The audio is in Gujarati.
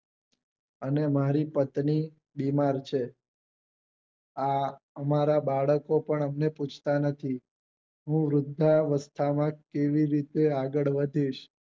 અને મારી પત્ની બીમાર છે આ અમારા બાળકો પણ અમને પૂછતાં નથી હું વૃદ્ધ વસ્થા માં કેવી રીતે આગળ વધીશ